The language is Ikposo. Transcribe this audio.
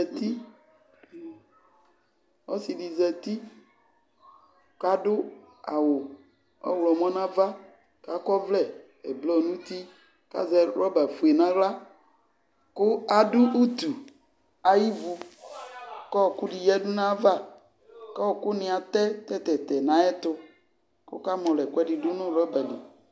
Ɔsɩ dɩ zati kʋ adʋ awʋ ɔɣlɔmɔ nʋ ava kʋ akɔ ɔvlɛ ɛblɔ nʋ uti kʋ azɛ rɔbafue nʋ aɣla kʋ adʋ utu ayʋ ivu kʋ ɔɣɔkʋ dɩ yǝdu nʋ ayava Kʋ ɔɣɔkʋnɩ atɛ tɛ-tɛ-tɛ nʋ ayɛtʋ kʋ ɔkamɔlɔ ɛkʋɛdɩ dʋ nʋ rɔba li